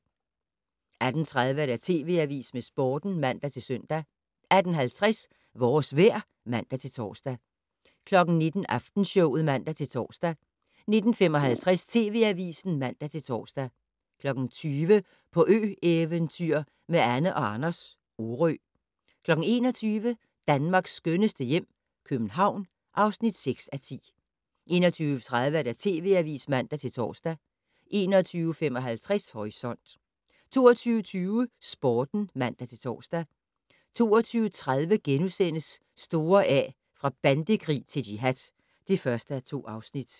18:30: TV Avisen med Sporten (man-søn) 18:50: Vores vejr (man-tor) 19:00: Aftenshowet (man-tor) 19:55: TV Avisen (man-tor) 20:00: På ø-eventyr med Anne & Anders - Orø 21:00: Danmarks skønneste hjem - København (6:10) 21:30: TV Avisen (man-tor) 21:55: Horisont 22:20: Sporten (man-tor) 22:30: Store A - fra bandekrig til jihad (1:2)*